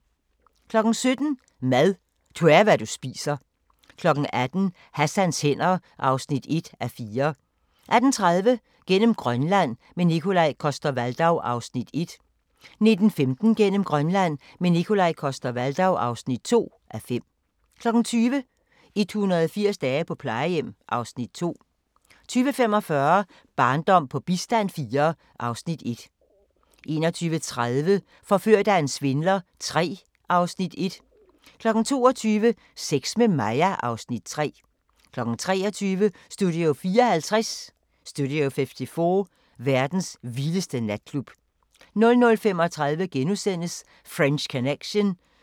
17:00: Mad – du er, hvad du spiser 18:00: Hassans hænder (1:4) 18:30: Gennem Grønland – med Nikolaj Coster-Waldau (1:5) 19:15: Gennem Grønland – med Nikolaj Coster-Waldau (2:5) 20:00: 180 dage på plejehjem (Afs. 2) 20:45: Barndom på bistand IV (Afs. 1) 21:30: Forført af en svindler III (Afs. 1) 22:00: Sex med Maja (Afs. 3) 23:00: Studio 54 – verdens vildeste natklub 00:35: French Connection *